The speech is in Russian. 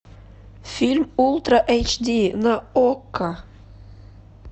фильм ультра эйч ди на окко